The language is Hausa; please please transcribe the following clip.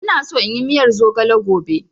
Ina so inyi miyar zogale gobe.